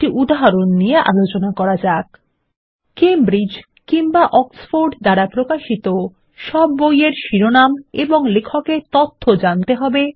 একটি উদাহরণ নিয়ে আলোচনা করা যাক কেমব্রিজ বা অক্সফোর্ড দ্বারা প্রকাশিত সব বইয়ের শিরোনাম ও লেখকের তথ্য জানতে হবে